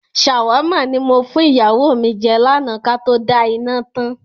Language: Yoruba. "ṣàmáwà" ni mo fún ìyàwó mi jẹ́ lànà Kato da iná tán.